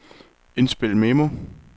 indspil memo